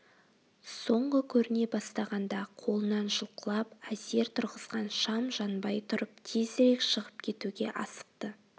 соңғы көріне бастағанда қолынан жұлқылап әзер тұрғызған шам жанбай тұрып тезірек шығып кетуге асықты